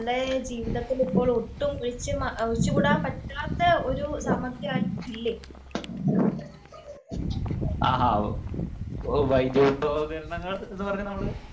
ആഹാ വൈദ്യുതോപകരണങ്ങൾ എന്ന് പറഞ്ഞാൽ നമ്മൾ